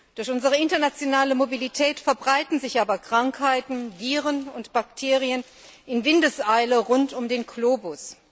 Durch unsere internationale Mobilität verbreiten sich aber Krankheiten, Viren und Bakterien in Windeseile rund um den Globus.